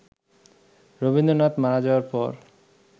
রবীন্দ্রনাথ মারা যাওয়ার পর